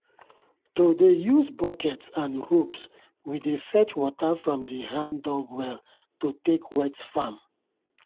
to dey use buckets and ropes we dey fetch water from the hand-dug well to take wet farm.